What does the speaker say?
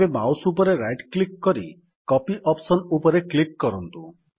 ଏବେ ମାଉସ୍ ଉପରେ right click କରି କପି ଅପ୍ସନ୍ ଉପରେ କ୍ଲିକ୍ କରନ୍ତୁ